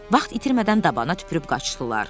Vaxt itirmədən dabana tüpürüb qaçdılar.